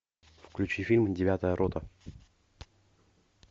включи фильм девятая рота